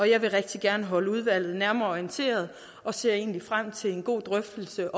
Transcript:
jeg vil rigtig gerne holde udvalget nærmere orienteret og ser frem til en god drøftelse